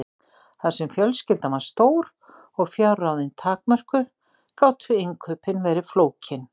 Þar sem fjölskyldan var stór og fjárráðin takmörkuð gátu innkaupin verið flókin.